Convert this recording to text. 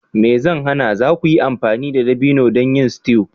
Me zai hana! za ku iya amfani da dabino don yin stew